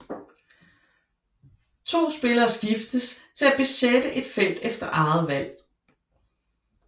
To spillere skiftes til at besætte et felt efter eget valg